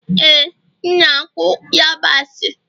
ee, m na-akụ yabasị